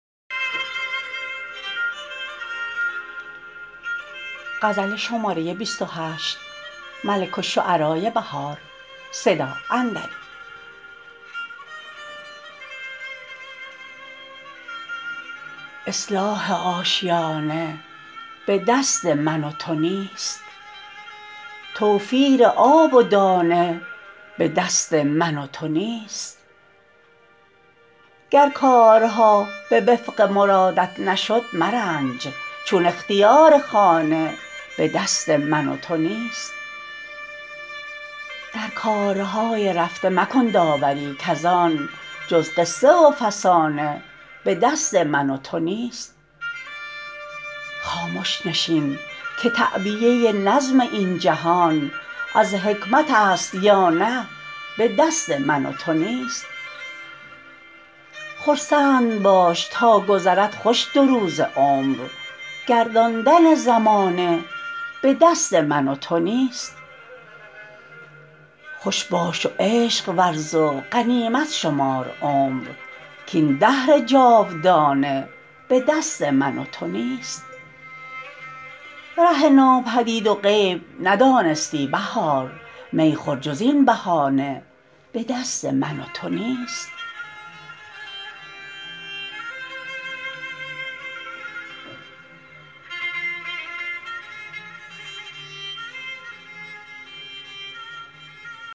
اصلاح آشیانه به دست من و تو نیست توفیر آب و دانه به دست من و تو نیست گر کارها به وفق مرادت نشد مرنج چون اختیار خانه به دست من و تو نیست درکارهای رفته مکن داوری کزان جزقصه و فسانه به دست من و تو نیست خامش نشین که تعبیه نظم این جهان از حکمتست یا نه به دست من و تو نیست خرسند باش تاگذرد خوش دو روز عمر گرداندن زمانه به دست من و تو نیست خوش باش و عشق ورز و غنیمت شمار عمر کاین دهر جاودانه به دست من و تو نیست ره ناپدید و غیب ندانستنی بهار می خور جز این بهانه به دست من و تو نیست